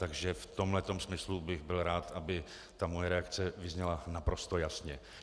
Takže v tomhle tom smyslu bych byl rád, aby moje reakce vyzněla naprosto jasně.